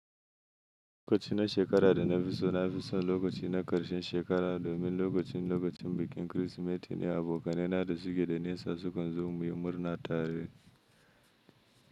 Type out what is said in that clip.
Lokaci na shekara da na fi so na fi so lokaci na ƙarshen shekara domin lokacin lokacin bikin Kirsimeti ne abokanai na da suke da nisa su kunzo muyi murna tare.